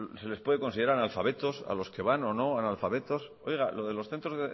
se les puede considerar analfabetos a los que van o no analfabetos oiga lo de los centros